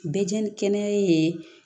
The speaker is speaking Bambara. Bɛɛ diɲɛ ni kɛnɛya ye